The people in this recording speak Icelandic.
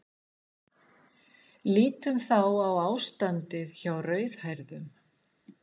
Lítum þá á ástandið hjá rauðhærðum.